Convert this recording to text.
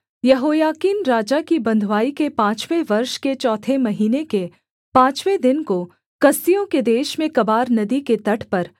यहोयाकीन राजा की बँधुआई के पाँचवें वर्ष के चौथे महीने के पाँचवें दिन को कसदियों के देश में कबार नदी के तट पर